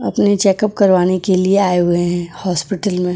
अपने चेकअप करवाने के लिए आए हुए हैं हॉस्पिटल में।